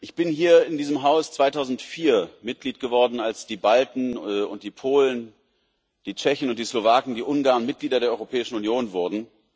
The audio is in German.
Ich bin hier in diesem Haus 2004 Mitglied geworden, als die Balten und die Polen, die Tschechen und die Slowaken, die Ungarn Mitglieder der Europäischen Union wurden.